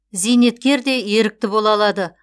зейнеткер де ерікті бола алады